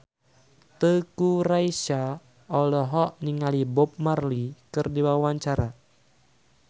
Teuku Rassya olohok ningali Bob Marley keur diwawancara